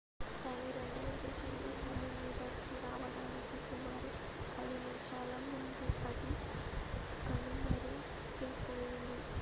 దాని రెండవ దశలో భూమి మీదకి రావడానికి సుమారు 10 నిమిషాల ముందు అది కనుమరుగైపోయింది